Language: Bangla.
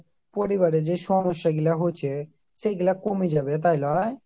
পরিবারের যে সমস্যা গুলো হচ্চে সেইগুলা কমেযাবে তাই লই